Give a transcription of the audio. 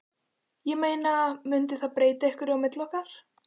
Ég meina. mundi það breyta einhverju á milli okkar.